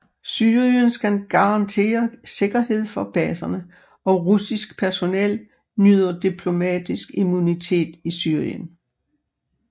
Syrien skal garantere sikkerhed for baserne og russisk personel nyder diplomatisk immunitet i Syrien